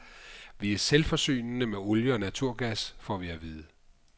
Vi er selvforsynende med olie og naturgas, får vi at vide.